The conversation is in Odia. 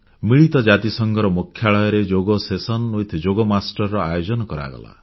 ମିଳିତ ଜାତିସଂଘର ମୁଖ୍ୟାଳୟରେ ଯୋଗ ସେସନ ୱିଥ୍ ଯୋଗ ମାଷ୍ଟର୍ସ ର ଆୟୋଜନ କରାଗଲା